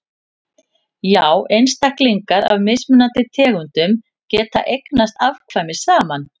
já einstaklingar af mismunandi tegundum geta eignast afkvæmi saman